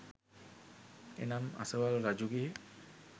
එනම් අසවල් රජුගේ